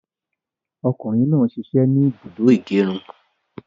Ọmọ kùnrin náà sisẹ́ ni ibùdó ìgẹrun